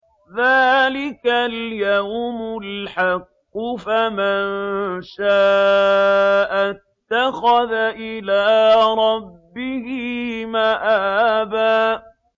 ذَٰلِكَ الْيَوْمُ الْحَقُّ ۖ فَمَن شَاءَ اتَّخَذَ إِلَىٰ رَبِّهِ مَآبًا